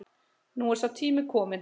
Nú er sá tími kominn